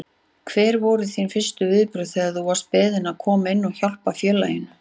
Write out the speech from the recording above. Hver voru þín fyrstu viðbrögð þegar þú varst beðinn að koma inn og hjálpa félaginu?